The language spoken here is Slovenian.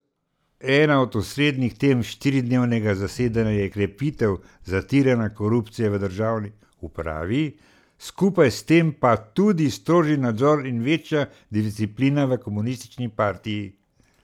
Ena od osrednjih tem štiridnevnega zasedanja je krepitev zatiranja korupcije v državni upravi, skupaj s tem pa tudi strožji nadzor in večja disciplina v komunistični partiji.